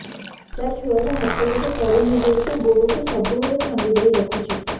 ସାର ଛୁଆର ହାତ ଗୋଡ ସରୁ ହେଇ ଯାଉଛି ଗୋଡ କୁ ସବୁବେଳେ ଛନ୍ଦିଦେଇ ରଖୁଛି